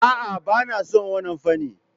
A'a, ba na son wannan fanni.